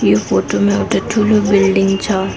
यो फोटो मा एउटा ठूलो बिल्डिङ छ।